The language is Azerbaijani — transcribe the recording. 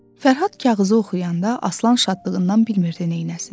Fərhad kağızı oxuyanda Aslan şadlığından bilmirdi neyləsin.